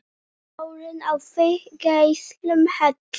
Sólin á þig geislum helli!